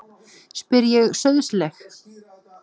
spyr ég sauðsleg.